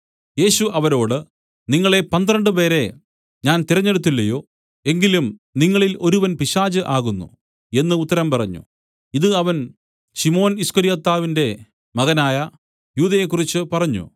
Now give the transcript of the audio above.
യേശു അവരോട് നിങ്ങളെ പന്ത്രണ്ടുപേരെ ഞാൻ തിരഞ്ഞെടുത്തില്ലയോ എങ്കിലും നിങ്ങളിൽ ഒരുവൻ ഒരു പിശാച് ആകുന്നു എന്നു ഉത്തരം പറഞ്ഞു ഇതു അവൻ ശിമോൻ ഈസ്കര്യോത്താവിന്റെ മകനായ യൂദയെക്കുറിച്ചു പറഞ്ഞു